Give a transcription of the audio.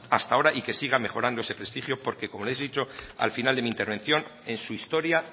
hasta ahora y que siga mejorando ese prestigio porque como les he dicho al final de mi intervención en su historia